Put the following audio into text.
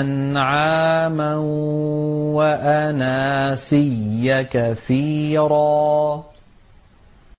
أَنْعَامًا وَأَنَاسِيَّ كَثِيرًا